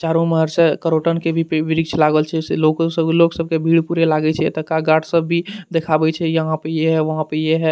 चारो उम्हर से करोटन के भी पे-वृक्ष लागल छै से लोको सब लोग सब के भीड़ पूरे लागे छै एतो का गार्ड सब भी देखावे छै यहां पे ये है वहां पे ये है ।